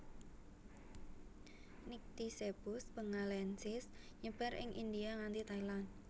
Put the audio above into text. Nycticebus bengalensis nyebar ing India nganti Thailand